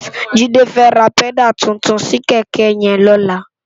Jide fè rá pèdá tútún si kèkè yèn lólá